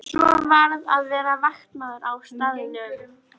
Svo varð að vera vaktmaður á staðnum.